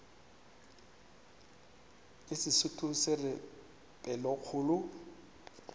le sesotho se re pelokgolo